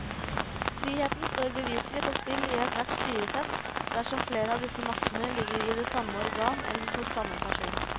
Friheten står beviselig på spill i ethvert styresett dersom flere av disse maktene ligger i det samme organ eller hos samme person.